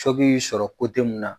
y'i sɔrɔ mun na.